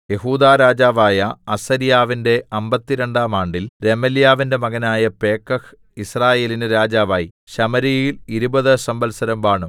യെഹൂദാ രാജാവായ അസര്യാവിന്റെ അമ്പത്തിരണ്ടാം ആണ്ടിൽ രെമല്യാവിന്റെ മകനായ പേക്കഹ് യിസ്രായേലിന് രാജാവായി ശമര്യയിൽ ഇരുപത് സംവത്സരം വാണു